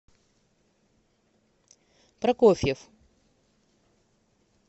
прокофьев